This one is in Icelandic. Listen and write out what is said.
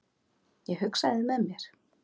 Ég hugsaði með mér